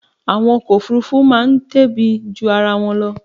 Àwọn ọkọ̀ Òfurufú máa tóbi ju ara wọn lọ.